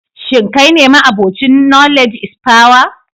Shin kai ne ma'abocin knowledge is power?